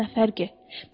Sənin üçün nə fərqi?